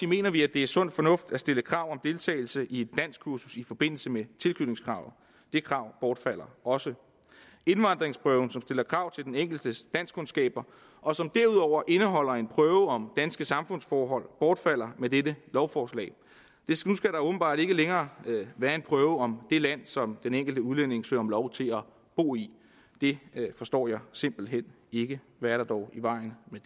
mener vi at det er sund fornuft at stille krav om deltagelse i et danskkursus i forbindelse med tilknytningskravet det krav bortfalder også indvandringsprøven som stiller krav til den enkeltes danskkundskaber og som derudover indeholder en prøve om danske samfundsforhold bortfalder med dette lovforslag nu skal der åbenbart ikke længere være en prøve om det land som den enkelte udlænding søger om lov til at bo i det forstår jeg simpelt hen ikke hvad er der dog i vejen med